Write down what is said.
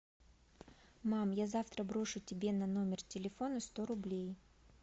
мам я завтра брошу тебе на номер телефона сто рублей